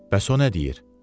Bəs o nə deyir?